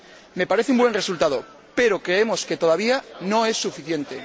Me parece un buen resultado, pero creemos que todavía no es suficiente.